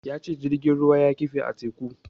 Ya ce jirgin ruwan ya kife a teku.